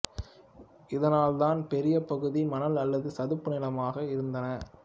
இதனால் இதன் பெரிய பகுதி மணல் அல்லது சதுப்பு நிலமாக இருந்தன